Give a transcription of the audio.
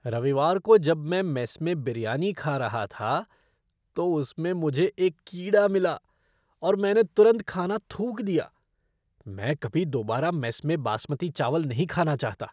रविवार को जब मैं मेस में बिरयानी खा रहा था, तो उसमें मुझे एक कीड़ा मिला और मैंने तुरंत खाना थूक दिया। मैं कभी दोबारा मेस में बासमती चावल नहीं खाना चाहता।